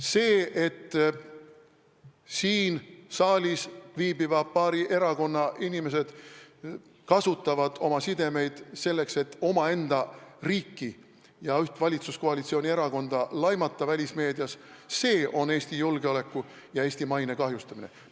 See, et paari siin saalis viibiva erakonna inimesed kasutavad oma sidemeid, selleks et omaenda riiki ja üht valitsuskoalitsioonierakonda välismeedias laimata, on Eesti julgeoleku ja Eesti maine kahjustamine.